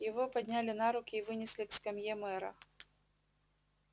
его подняли на руки и вынесли к скамье мэра